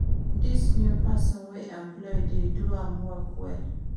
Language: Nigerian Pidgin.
Dis new person we employ dey do im work well